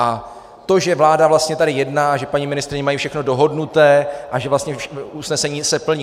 A to, že vláda vlastně tady jedná, že paní ministryně mají všechno dohodnuté a že vlastně usnesení se plní...